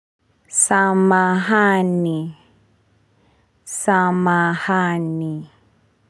Samahani. Samahani.